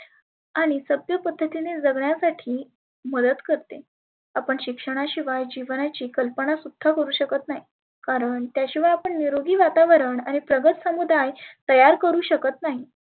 आणि सभ्य पद्धतीने जगण्यासाठी मदत करते. आपण शिक्षणाशिवाय जिवनाची कल्पना सुद्धा करु शकत नाही. कारण त्याशिवाय आपण निरोगी वातावरण आणि प्रगत समुदाय तयार करु शकत नाही.